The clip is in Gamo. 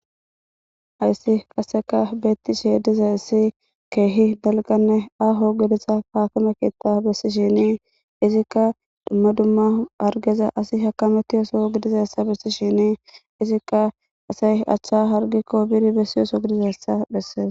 Hayisa qasekka betishe dizaysi dalganne aho geletha akime keta besishenne izika dumma dumma hargeza asi hakamwetiza Soho gidizayis besishin izika asayi acha hargikko bidi besiza Soho gidizayisa beses.